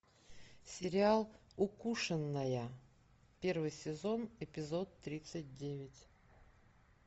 сериал укушенная первый сезон эпизод тридцать девять